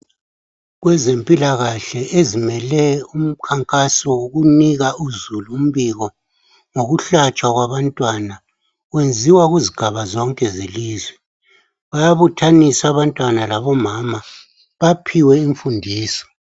Kwezempilakahle ezimele umkhankaso woku nika uzulu umbiko wokuhlatshwa kwabantwana kwenziwa kuzigaba zonke zelizwe, bayabuthanisa abantwana labomama baphiwe imfundiso.